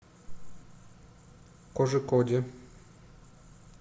кожикоде